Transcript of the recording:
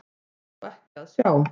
Það var þó ekki að sjá.